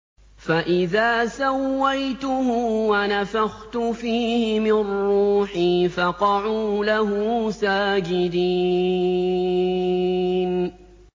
فَإِذَا سَوَّيْتُهُ وَنَفَخْتُ فِيهِ مِن رُّوحِي فَقَعُوا لَهُ سَاجِدِينَ